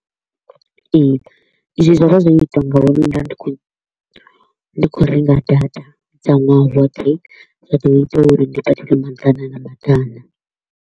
Ee, izwi zwa vha zwo itwa ngau ri nda ndi kho u ndi kho u renga data dza ṅwaha woṱhe, zwa ḓo ita uri ndi badele maḓana na maḓana.